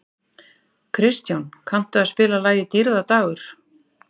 Kristján, kanntu að spila lagið „Dýrðardagur“?